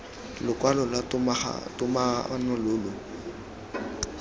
lokwalo lwa togamaano lo lo